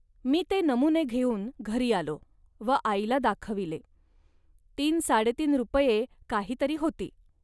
मी ते नमुने घेऊन घरी आलो व आईला दाखविले. तीन, साडेतीन रुपये काही तरी होती